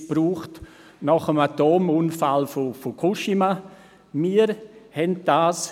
Die Regierung machte zum Beispiel nach dem Atomunfall von Fukushima davon Gebrauch.